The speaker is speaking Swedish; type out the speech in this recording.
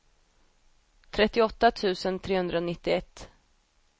trettioåtta tusen trehundranittioett